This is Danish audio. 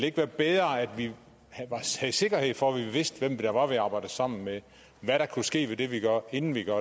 ikke være bedre at vi havde sikkerhed for at vi vidste hvem det var vi arbejdede sammen med og hvad der kunne ske ved det vi gør inden vi gør